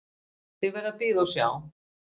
Þið verðið að bíða og sjá.